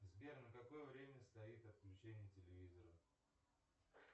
сбер на какое время стоит отключение телевизора